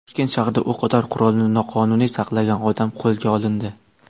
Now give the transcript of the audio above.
Toshkent shahrida o‘qotar qurolni noqonuniy saqlagan odam qo‘lga olindi.